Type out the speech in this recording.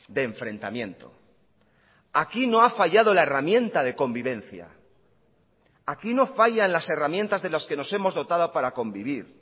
de enfrentamiento aquí no ha fallado la herramienta de convivencia aquí no fallan las herramientas de las que nos hemos dotada para convivir